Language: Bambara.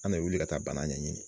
An bɛ wuli ka taa bana ɲɛ ɲini.